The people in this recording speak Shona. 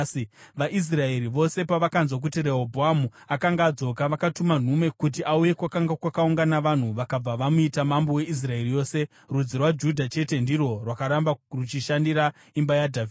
VaIsraeri vose pavakanzwa kuti Rehobhoamu akanga adzoka, vakatuma nhume kuti auye kwakanga kwakaungana vanhu, vakabva vamuita mambo weIsraeri yose. Rudzi rwaJudha chete ndirwo rwakaramba ruchishandira imba yaDhavhidhi.